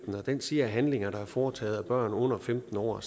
og den siger at handlinger der er foretaget af børn under femten år